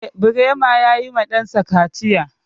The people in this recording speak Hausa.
Eh, Birema ya yi ma ɗan sa kaciya.